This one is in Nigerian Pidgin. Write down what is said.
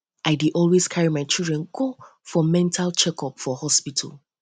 i dey always carry my children go for mental check up for up for hospital